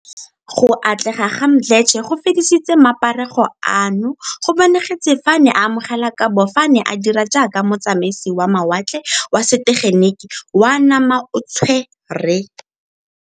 Go atlega ga Mdletshe go fedisitse maparego ano, go bonagetse fa a ne a amogela kabo fa a ne a dira jaaka motsamaisi wa mawatle wa setegeniki wa namaotshwe re.